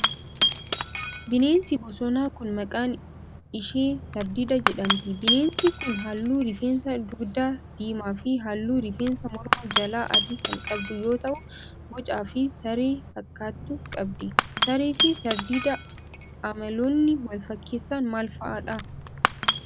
Bineensi bosonaa kun, maqaan ishee sardiida jedhamti. Bineensi kun, haalluu rifeensa dugdaa diimaa fi haalluu rifeensa morma jalaa adii kan qabdu yoo ta'u, boca bifa saree fakkaatu qabdi. Saree fi sardiida amaloonni wal fakkeessan maal faa dha?